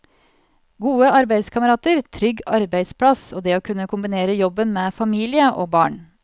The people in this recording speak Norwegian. Gode arbeidskamerater, trygg arbeidsplass og det å kunne kombinere jobben med familie og barn.